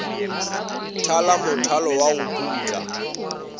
thala mothalo wa go putla